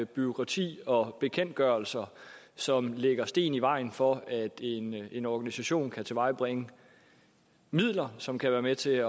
bureaukrati og bekendtgørelser som lægger sten i vejen for at en en organisation kan tilvejebringe midler som kan være med til